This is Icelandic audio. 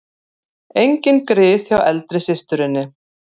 Engin grið hjá eldri systurinni